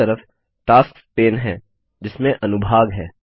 दाएँ तरफ tasks pane हैं जिसमें अनुभाग है